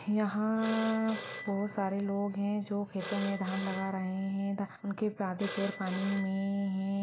यहाँ बहुत सारे लोग है जो खेतो में धान लगा रहे है धा उनके आधे पैर पानी में है।